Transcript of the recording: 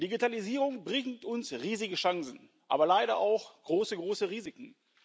Die Digitalisierung bringt uns riesige Chancen, aber leider auch große, große Risiken.